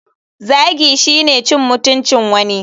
Zagi shine cin mutuncin wani.